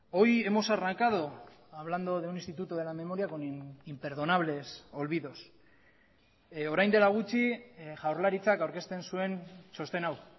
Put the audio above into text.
hoy hemos arrancado hablando de un instituto de la memoria con imperdonables olvidos orain dela gutxi jaurlaritzak aurkezten zuen txosten hau